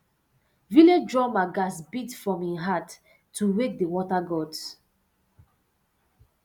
village drummer gats beat from him heart to wake the water gods